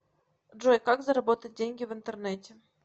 джой как заработать деньги в интернете